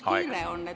Aeg!